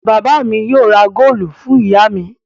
Bàbá mi yóò ra góólù fún ìyá mi.